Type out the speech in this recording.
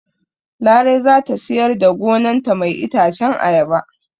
Larai zata siyar da gonan ta mai itacen ayaba